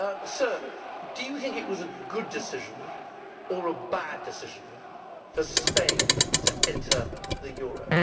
Sir, do you think it was a good decision or a bad decision for Spain to enter the euro?